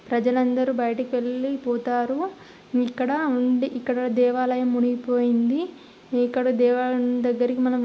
ప్రజలందరూ బయిటకు వెళ్ళి పోతారు ఇక్కడ ఉండి ఇక్కడ దేవాలయం మునిగిపోయింది ఇక్కడ దేవాలయం దగ్గరకి మనం --